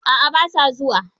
A'a ba sa zuwa.